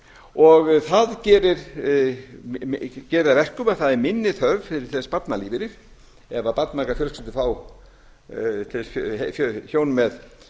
og það gerir það að verkum að það er minni þörf fyrir til dæmis barnalífeyrir ef barnmargar fjölskyldur til dæmis hjón